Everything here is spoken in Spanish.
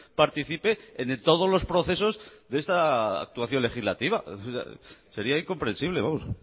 participe en todos los procesos de esta actuación legislativa sería incomprensible vamos